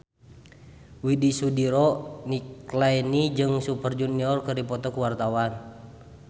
Widy Soediro Nichlany jeung Super Junior keur dipoto ku wartawan